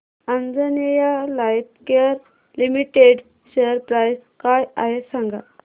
Anjaneya lifecare limited share price काय आहे सांगा